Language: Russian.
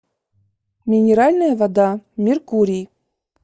минеральная вода меркурий